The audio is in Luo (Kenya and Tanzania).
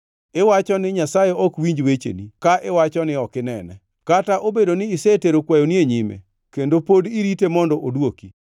Iwacho ni Nyasaye ok winj wecheni ka iwacho ni ok inene, kata obedo ni isetero kwayoni e nyime, kendo pod irite mondo odwoki.